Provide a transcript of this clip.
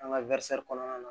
An ka kɔnɔna na